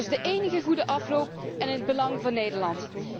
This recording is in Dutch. Dat is de enige goede afloop én in het belang van Nederland.